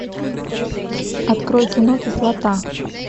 открой кино кислота